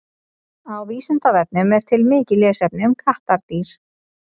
Á Vísindavefnum er til mikið lesefni um kattardýr.